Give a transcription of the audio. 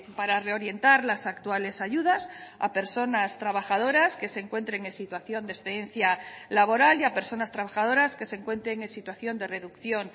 para reorientar las actuales ayudas a personas trabajadoras que se encuentren en situación de excedencia laboral y a personas trabajadoras que se encuentren en situación de reducción